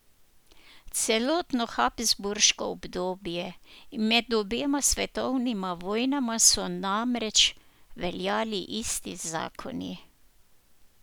Celotno habsburško obdobje in med obema svetovnima vojnama so namreč veljali isti zakoni.